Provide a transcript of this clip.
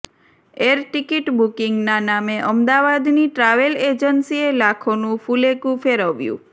air ticket બુકિંગના નામે અમદાવાદની ટ્રાવેલ એજન્સીએ લાખોનું ફુલેકું ફેરવ્યું